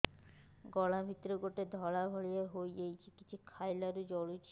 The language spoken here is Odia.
ଗଳା ଭିତରେ ଗୋଟେ ଧଳା ଭଳିଆ ହେଇ ଯାଇଛି କିଛି ଖାଇଲାରୁ ଜଳୁଛି